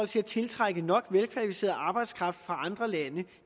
til at tiltrække nok velkvalificeret arbejdskraft fra andre lande